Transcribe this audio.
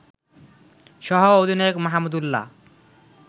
সহ-অধিনায়ক Mahmudullah